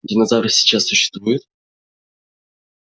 динозавры сейчас существуют